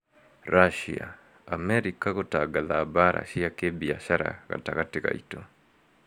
Russia: Amerika gũtangatha "mbara cia kĩbiashara " gatagatĩ gaitũ